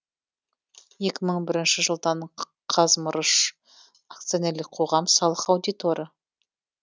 екі мың бірінші жылдан қазмырыш акционерлік қоғам салық аудиторы